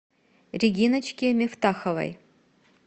региночке мифтаховой